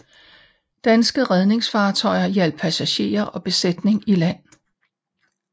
Danske redningsfartøjer hjalp passagerer og besætning i land